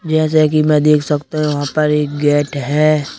जैसे कि मैं देख सकता हूं वहां पर एक गेट है।